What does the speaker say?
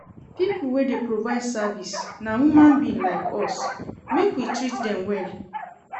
Pipo wey dey provide service na human being like us, make we treat dem well.